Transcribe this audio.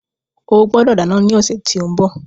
O gbọdọ̀ dáná ní ọ̀sẹ̀ tí ó ń bọ̀.